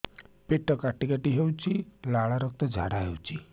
ପେଟ କାଟି କାଟି ହେଉଛି ଲାଳ ରକ୍ତ ଝାଡା ହେଉଛି